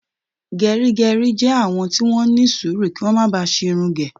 Gerigeri jẹ́ àwọn tí wón ní sùúrù kí wón má bá si irun ge